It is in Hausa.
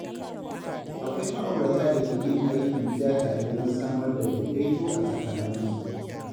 Akwai ma’aurata da ke yin aikin gida tare don samar da daidaito a tsakaninsu.